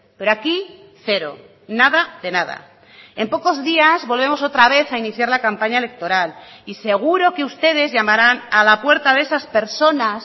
pero aquí cero nada de nada en pocos días volvemos otra vez a iniciar la campaña electoral y seguro que ustedes llamarán a la puerta de esas personas